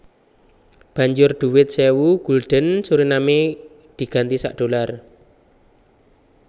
Banjur dhuwit sewu gulden Suriname diganti sak dollar